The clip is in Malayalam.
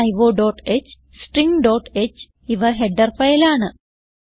stdioഹ് stringഹ് ഇവ ഹെഡർ ഫയലാണ്